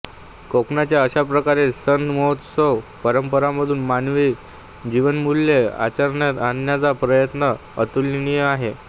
कोकणांचा अशाप्रकारे सण महोत्सवातून परंपरामधून मानवी जीवनमूल्ये आचरणात आणण्याचा प्रयत्न अतुलनीय आहे